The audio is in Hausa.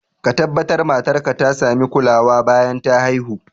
Ka tabbatar matar ka ta sami kulawa bayan ta haihu